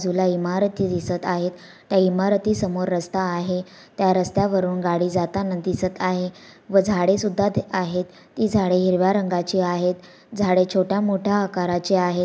बाजूला इमारती दिसत आहेत त्या इमारती समोर रस्ता आहे त्या रस्त्या वरून गाडी जाताना दिसत आहे व झाडे सुद्धा ते आहेत ती झाडे हिरव्या रंगाची आहेत झाडे छोट्या मोठ्या आकाराची आहे.